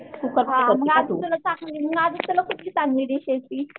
हां आधी तुला आधी तुला ती